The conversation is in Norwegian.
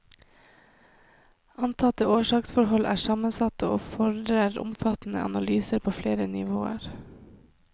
Antatte årsaksforhold er sammensatte og fordrer omfattende analyser på flere nivåer.